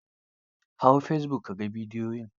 Hau fesibuk ka ga bidiyon.